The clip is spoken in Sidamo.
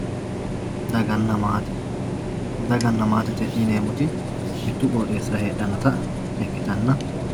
daganna maate dagana maate yineemmoti mittu qooxeessira heedhannota ikkitanna